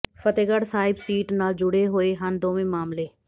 Fatehgarh Sahib seat ਨਾਲ ਜੁੜੇ ਹੋਏ ਹਨ ਦੋਵੇਂ ਮਾਮਲੇ